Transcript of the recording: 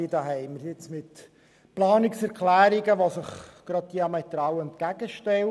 Wir haben hier Planungserklärungen vorliegend, die sich diametral entgegenstehen.